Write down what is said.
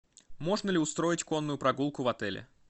можно ли устроить конную прогулку в отеле